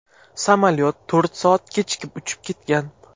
Samolyot to‘rt soat kechikib uchib ketgan.